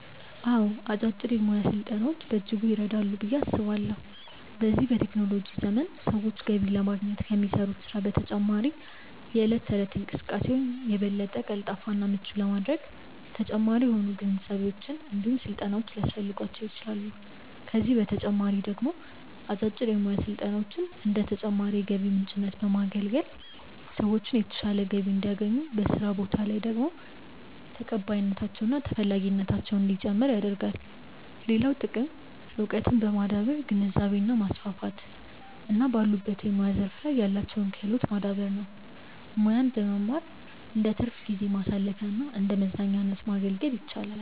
አዎ አጫጭር የሙያ ስልጠናዎች በእጅጉ ይረዳሉ ብዬ አስባለሁ። በዚህ በቴክኖሎጂ ዘመን ሰዎች ገቢ ለማግኘት ከሚሰሩት ስራ በተጨማሪ የእለት ተእለት እንቅስቃሴያቸውን የበለጠ ቀልጣፋ እና ምቹ ለማድረግ ተጨማሪ የሆኑ ግንዛቤዎች እንዲሁም ስልጠናዎች ሊያስፈልጓቸው ይችላል፤ ከዚህ በተጨማሪ ደግሞ አጫጭር የሙያ ስልጠናዎች እንደ ተጨማሪ የገቢ ምንጭነት በማገልገል ሰዎችን የተሻለ ገቢ እንዲያገኙ፤ በስራ ቦታ ላይ ደግሞ ተቀባይነታቸው እና ተፈላጊነታቸው እንዲጨምር ያደርጋል። ሌላው ጥቅም እውቀትን በማዳበር ግንዛቤን ማስፋት እና ባሉበት የሙያ ዘርፍ ላይ ያላቸውን ክህሎት ማዳበር ነው። ሙያን መማር እንደትርፍ ጊዜ ማሳለፊያና እንደመዝናኛነት ማገልገል ይችላል።